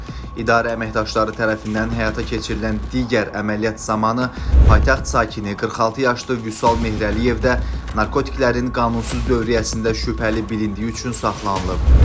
İdarə əməkdaşları tərəfindən həyata keçirilən digər əməliyyat zamanı paytaxt sakini 46 yaşlı Vüsal Mehrəliyev də narkotiklərin qanunsuz dövriyyəsində şübhəli bilindiyi üçün saxlanılıb.